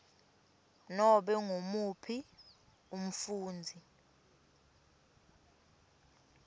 nobe ngumuphi umfundzi